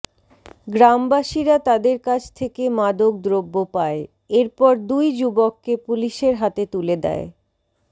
গ্রামবাসীরা তাদের কাছ থেকে মাদক দ্রব্য পায় এরপর দুই যুবককে পুলিশের হাতে তুলে দেয়